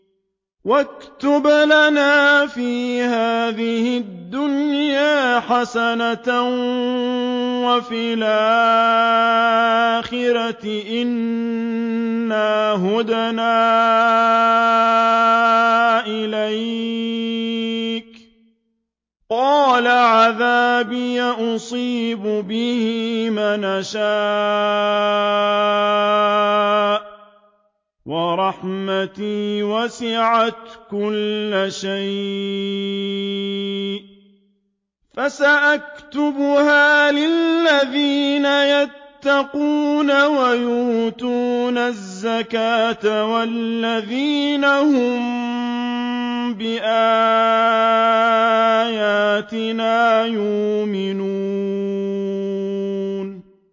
۞ وَاكْتُبْ لَنَا فِي هَٰذِهِ الدُّنْيَا حَسَنَةً وَفِي الْآخِرَةِ إِنَّا هُدْنَا إِلَيْكَ ۚ قَالَ عَذَابِي أُصِيبُ بِهِ مَنْ أَشَاءُ ۖ وَرَحْمَتِي وَسِعَتْ كُلَّ شَيْءٍ ۚ فَسَأَكْتُبُهَا لِلَّذِينَ يَتَّقُونَ وَيُؤْتُونَ الزَّكَاةَ وَالَّذِينَ هُم بِآيَاتِنَا يُؤْمِنُونَ